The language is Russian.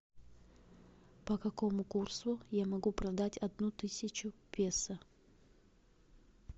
по какому курсу я могу продать одну тысячу песо